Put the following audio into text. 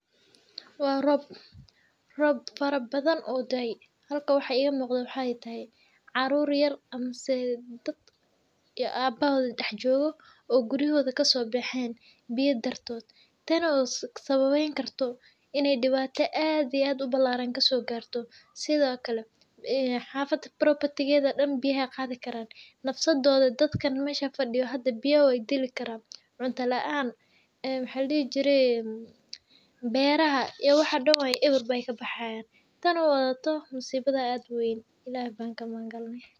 Waa roob, roob fara badhan oo daey. Halkan waxaa igamuqdo waxay tahay caruur yar mise dad iyo aabahoodha daxjoogo oo guriyahoodha kasobaxen biya dartod, tan oo sababeyn karto ini dibaato aad iyo aad ubalaran kasogari garto. Sidhookale xafada property gedha oo dan biyaha ayaa qaadhi karaan nafsadoodha dadka meeshan fadiyo hada biya wey dili karaan cunto laan, beeraha iyo waxa dan eber bey kabaxayan tan oo wadhato masiibada aad uweyn ilaha baan kamagangalne.